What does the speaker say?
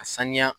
A saniya